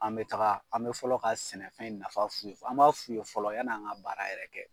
An bɛ taga an bɛ fɔlɔ ka sɛnɛfɛn nafa f'u ye an b'a f'u ye fɔlɔ yanni an ka baara yɛrɛ kɛ.